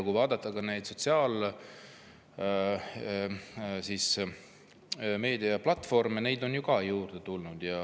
Ka sotsiaalmeediaplatvorme on juurde tulnud.